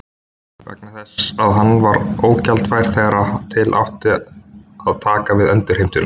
vegna þess að hann var ógjaldfær þegar til átti að taka við endurheimtuna.